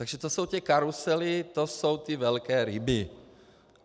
Takže to jsou ty karusely, to jsou ty velké ryby.